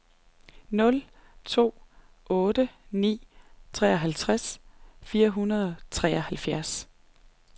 nul to otte ni treoghalvtreds fire hundrede og treoghalvfjerds